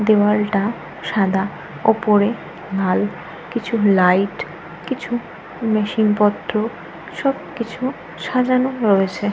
দেওয়ালটা সাদা উপরে লাল কিছু লাইট কিছু মেশিনপত্র সবকিছু সাজানো রয়েছে।